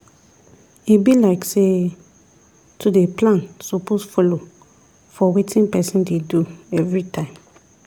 e be like say to dey plan suppose follow for wetin person dey do everytime